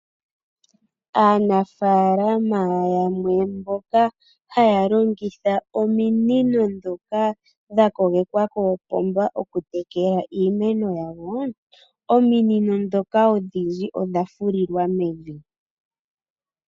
Aanafalama yamwe mboka haya longitha ominino dhoka dhakogekwa koopomba oku tekela iimeno yawoo. Ominino dhoka odhindji odha fulilwa mevi.